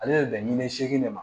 Ale bɛ bɛn ni seegin de ma